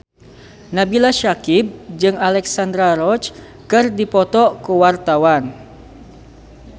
Nabila Syakieb jeung Alexandra Roach keur dipoto ku wartawan